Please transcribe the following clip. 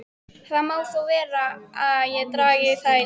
Það má vera þó ég dragi það í efa.